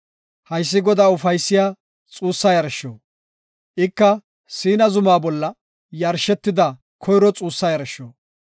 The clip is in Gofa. Haysi Godaa ufaysiya xuussa yarsho. Ika Siina zuma bolla yarshetida koyro xuussa yarsho.